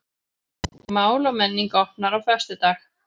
Mál og menning opnar á föstudag